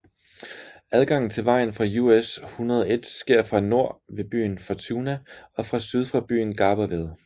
Adgangen til vejen fra US 101 sker fra nord ved byen Fortuna og fra syd fra byen Garberville